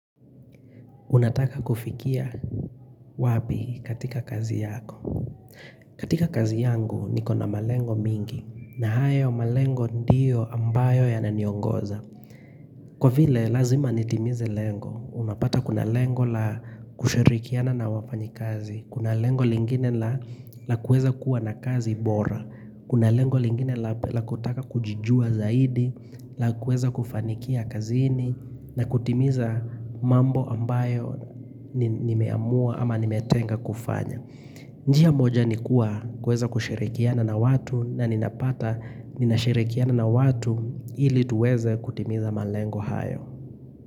Unataka kufikia wapi katika kazi yako? Katika kazi yangu niko na malengo mingi na hayo malengo ndio ambayo yananiongoza Kwa vile lazima nitimize lengo, unapata kuna lengo la kushirikiana na wafanyi kazi Kuna lengo lingine la kueza kuwa na kazi bora Kuna lengo lingine la kutaka kujijua zaidi Lakueza kufanikia kazini na kutimiza mambo ambayo nimeamua ama nimetenga kufanya. Njia moja nikuwa kuweza kushirikiana na watu na ninapata ninashirikiana na watu ili tuweze kutimiza malengo hayo.